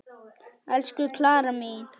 Elsku Klara mín.